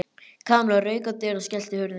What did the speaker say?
Kamilla rauk á dyr og skellti hurðinni.